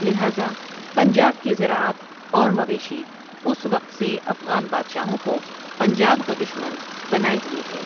لہٰذا پنجاب کی زراعت اور مویشی اس وقت سے افغان بادشاہوں کو پنجاب کا دشمن بنائے ہوئے ہیں ۔